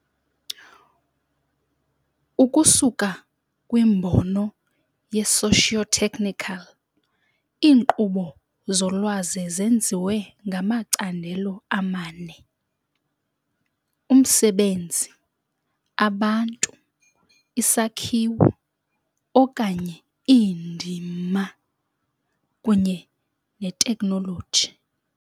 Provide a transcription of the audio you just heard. Ukusuka kwimbono ye-sociotechnical, iinkqubo zolwazi zenziwe ngamacandelo amane- umsebenzi, abantu, isakhiwo, okanye iindima, kunye neteknoloji.